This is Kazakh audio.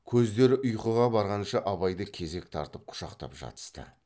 көздері ұйқыға барғанша абайды кезек тартып құшақтап жатысты